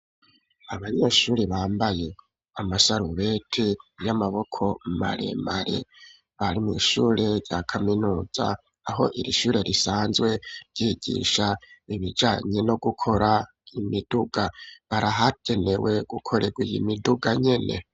Abanyeshuri bambaye amasarubeti y'amaboko maremare ,bari mw'ishure rya kaminuza aho iri shure risanzwe ryigisha ibijanye no gukora imiduga, barahagenewe gukorewa iyi miduga nyene.